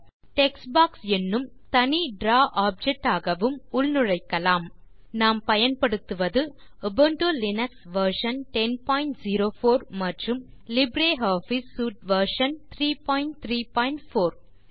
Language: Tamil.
டெக்ஸ்ட் பாக்ஸ் என்னும் தனி டிராவ் ஆப்ஜெக்ட் ஆகவும் உள்நுழைக்கலாம் நாம் பயன்படுத்துவது உபுண்டு லினக்ஸ் வெர்ஷன் 1004 மற்றும் லிப்ரியாஃபிஸ் சூட் வெர்ஷன் 334